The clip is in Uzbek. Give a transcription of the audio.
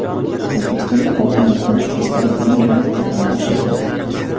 O‘zbekistonda oltin va kumush esdalik tangalar narxi oshirildi.